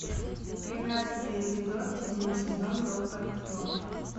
тринадцатый эпизод седьмой сезон доктор кто